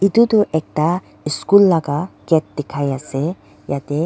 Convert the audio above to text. tutu ekta eschool laga gate dekhai ase yate.